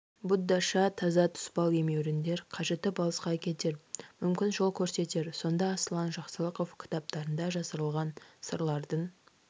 буддаша таза тұспал-емеуріндер қажытып алысқа әкетер мүмкін жол көрсетер сонда аслан жақсылықов кітаптарында жасырылған сырлардың